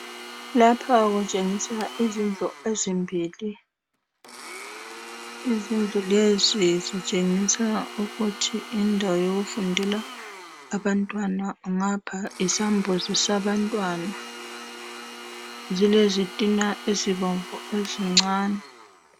Lapha kutshengisa izindlu ezimbili. Izindlulezi zitshengisa ukuthi yindawo yokufundela abantwana. Ngapha yisambuzi sabantwana. Zilezitina ezincane.